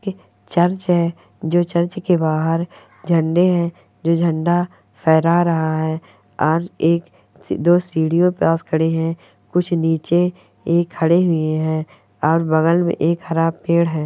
यह चर्च है जो चर्च के बाहर झंडे हैं जो झंडा फेहरा रहा है और एक दो सीढ़ियों के पास खड़े हैं। कुछ नीचे ए खड़े हुए हैं और बगल में एक हरा पेड़ है।